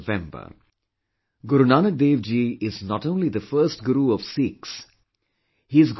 Guru Nanak Dev ji is not only the first guru of Sikhs; he's guru to the entire world